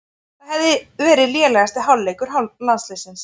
Það hefði verið lélegasti hálfleikur landsliðsins